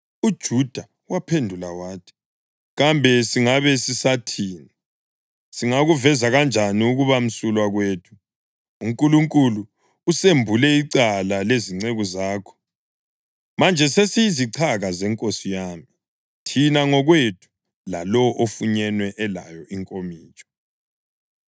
UJuda waphendula wathi, “Kambe singabe sisathini? Singakuveza kanjani ukuba msulwa kwethu? UNkulunkulu usembule icala lezinceku zakho. Manje sesiyizichaka zenkosi yami, thina ngokwethu lalowo ofunyenwe elayo inkomitsho.”